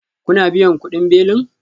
Kuna biyan kudin belin?